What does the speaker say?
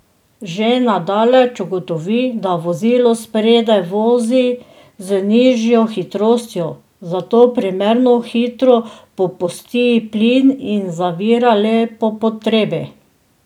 Že na daleč ugotovi, da vozilo spredaj vozi z nižjo hitrostjo, zato primerno hitro popusti plin in zavira le po potrebi.